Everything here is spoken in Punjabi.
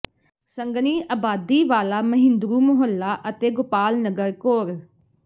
ਸੰਘਣੀ ਅਬਾਦੀ ਵਾਲਾ ਮਹਿੰਦਰੂ ਮੁਹੱਲਾ ਅਤੇ ਗੋਪਾਲ ਨਗਰ ਕੋਰ